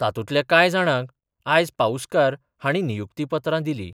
तातुंतल्या काय जाणांक आयज पाउस्कार हाणी नियुक्तीपत्रा दिली.